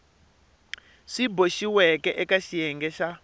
swi boxiweke eka xiyenge xa